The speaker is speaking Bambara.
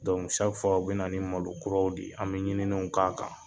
u be na ni malo kuraw de ye an be ɲininenw k'a kan.